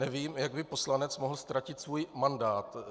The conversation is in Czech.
Nevím, jak by poslanec mohl ztratit svůj mandát.